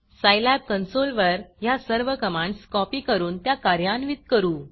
Scilab console वर ह्या सर्व कमांडस कॉपी करून त्या कार्यान्वित करू